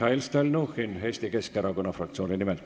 Mihhail Stalnuhhin Eesti Keskerakonna fraktsiooni nimel.